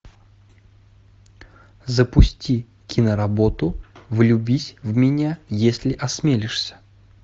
запусти киноработу влюбись в меня если осмелишься